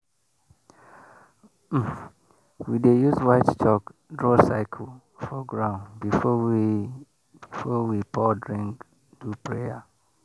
um we dey use white chalk draw circle for ground before we before we pour drink do prayer.